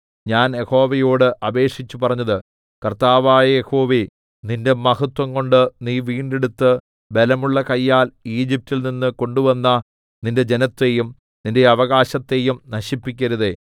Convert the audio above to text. ഞാൻ യഹോവയോട് അപേക്ഷിച്ചുപറഞ്ഞത് കർത്താവായ യഹോവേ നിന്റെ മഹത്വംകൊണ്ട് നീ വീണ്ടെടുത്ത് ബലമുള്ള കയ്യാൽ ഈജിപ്റ്റിൽ നിന്ന് കൊണ്ടുവന്ന നിന്റെ ജനത്തെയും നിന്റെ അവകാശത്തെയും നശിപ്പിക്കരുതേ